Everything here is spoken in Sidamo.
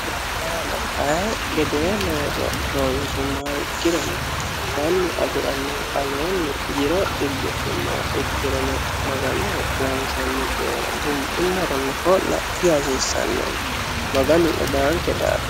Ayi gede looso loonisumoha ikkirono mannu afiranno aleeni jiro ci'bidhumoha ikkiro maganoho loonisani cooyira ho'la dihasisanno korikkatuno maganu ledanikke daafira